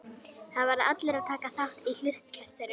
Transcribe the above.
Það verða allir að taka þátt í hlutkestinu.